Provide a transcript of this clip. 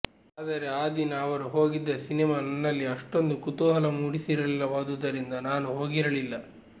ಆದರೆ ಆ ದಿನ ಅವರು ಹೋಗಿದ್ದ ಸಿನೆಮಾ ನನ್ನಲ್ಲಿ ಅಷ್ಟೊಂದು ಕುತೂಹಲ ಮೂಡಿಸಿರಲಿಲ್ಲವಾದುದರಿಂದ ನಾನು ಹೋಗಿರಲಿಲ್ಲ